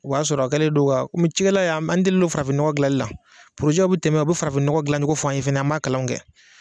O b'a sɔrɔ, a kɛlen don ka komi cikɛlaw y'an an delilen no farafinnɔgɔ dilanli la, porozɛw bɛ tɛmɛ u bɛ farafinnɔgɔ dilan cogo fɔ an ye fɛnɛ an b'a kalanw kɛ.